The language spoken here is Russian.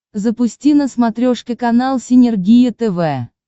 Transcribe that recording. запусти на смотрешке канал синергия тв